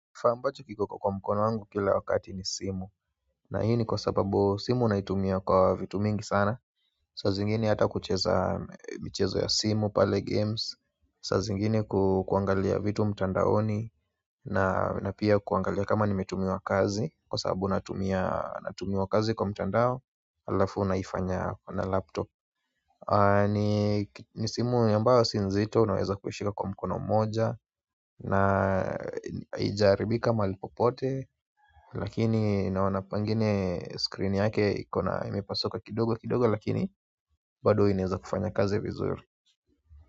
Kifaa ambacho kiko kwa mkono wangu kila wakati ni simu na hii ni kwa sababu simu unaitumia kwa vitu mingi sana. Sazingine hata kucheza mchezo ya simu pale games sazingine ku kuangalia vitu mtandaoni na na pia kuangalia kama nimetumiwa kazi kwa sababu natumia kazi kwa mtandao. Alafu naifanya na laptop ni simu ambayo si nzito naweza kuishika kwa mkono moja na haija haribika mahali popote lakini naona pengine screen yake ikona imepasuka kidogo kidogo lakini bado inaweza kufanya kazi vizuri.